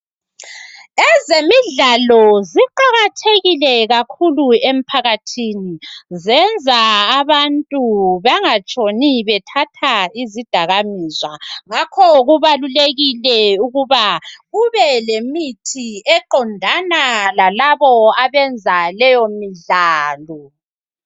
Ezemidlalo ziqakathekile kakhulu emphakathini. Zenza abantu bangatshoni bethatha uzidakamizwa. Ngakho kubalulekile, ukuba kube lemithi ,qondana lalabo abenza leyomidlalo.